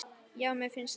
Já, mér finnst það.